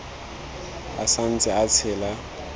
a sa ntse a tshela